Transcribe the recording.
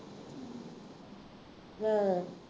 ਹਾਂ